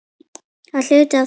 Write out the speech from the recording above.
Það er hluti af þessu.